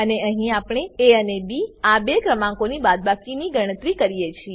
અને અહીં આપણે એ અને બી આ બે ક્રમાંકોની બાદબાકી ગણતરી કરીએ છીએ